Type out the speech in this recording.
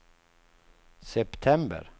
september